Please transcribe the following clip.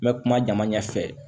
N bɛ kuma jama ɲɛfɛ